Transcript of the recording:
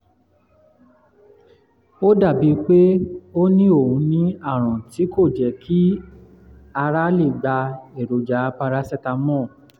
ó dàbíi pé ó ní ó ní àrùn tí kì í jẹ́ kí ara lè gba èròjà paracetamol